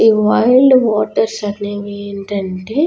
ఈ wild water surname ఏంటంటే.